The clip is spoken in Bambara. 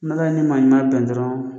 N'Ala y'i ni maa ɲuman bɛn dɔrɔn